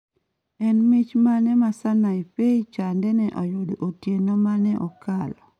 En mich mane ma sanaipei tande ne oyudo otieno mane okalo?